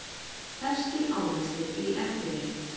Ferskir ávextir í eftirrétt